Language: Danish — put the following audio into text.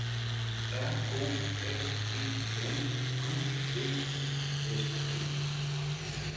R O S E N Q V I S T